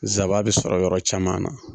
Zaba bɛ sɔrɔ yɔrɔ caman na